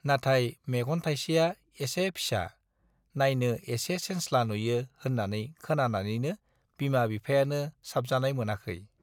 नाथाय मेगन थाइसेया एसे फिसा, नाइनो एसे सेनस्ला नुयो होन्नानै खोनानानैनो बिमा-बिफायानो साबजानाय मोनाखौ।